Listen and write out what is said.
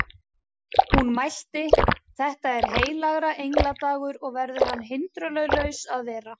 Hún mælti: Þetta er heilagra engla dagur og verður hann hindrunarlaus að vera